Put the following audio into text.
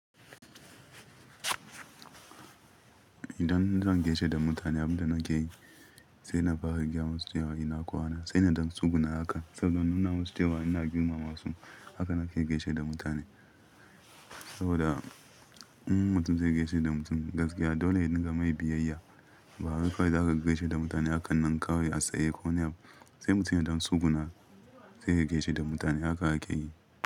Idan zan gaishe da mutane abunda nake yi, sai na fara gaya mu su cewa ina kwana sai na dan tsuguna haka saboda nuna masu cewa ina girmama su. Haka nake gaishe da mutane saboda in mutum zai gaishe da mutum gaskiya dole ne ka mai biyayya. Ba haka kawai zaka gaishe da mutane haka nan kawai a tsaye ko wane abu, sai mutum ya dan tsuguna sai ka gaishe da mutane haka ake yi.